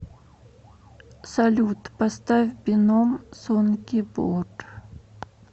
салют поставь беном сонги бор